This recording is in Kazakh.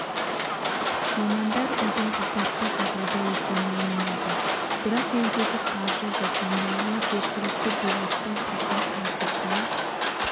мамандар үйдің апатты жағдайда екенін мойындады бірақ жөндеуге қаржы жоқ мұндағылар жергілікті биліктің құрғақ уәдесіне